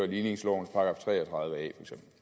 ligningslovens § tre og tredive a